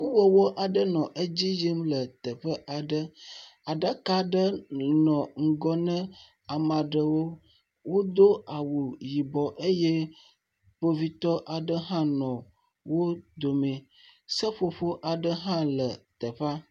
Nuwɔwɔ aɖe nɔ edzi yim le teƒe aɖe. Aɖaka aɖe nɔ ŋgɔ na ame aɖewo. Wodo awu yibɔ eye kpovitɔ aɖe hɔʋ nɔ wo dome. Seƒoƒo aɖe hã nɔ teƒea.